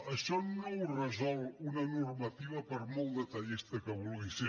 això no ho resol una normativa per molt detallista que vulgui ser